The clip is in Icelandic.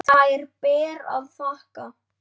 Þær ber að þakka.